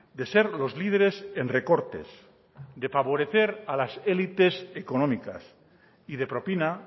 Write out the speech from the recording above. de ser los líderes en recortes de favorecer a las elites económicas y de propina